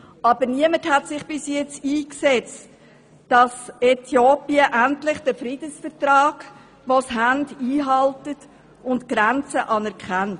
Aber niemand hat sich bisher dafür eingesetzt, dass Äthiopien endlich den bestehenden Friedensvertrag einhält und die Grenze anerkennt.